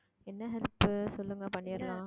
என்ன help உ சொல்லுங்க பண்ணிரலாம்